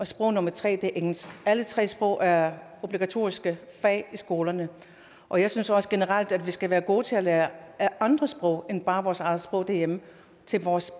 sprog nummer tre er engelsk alle tre sprog er obligatoriske fag i skolerne og jeg synes også generelt at vi skal være gode til at lære andre sprog end bare vores eget sprog derhjemme til vores